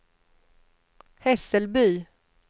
Hässelby